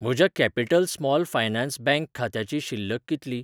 म्हज्या capital small finance bank खात्याची शिल्लक कितली?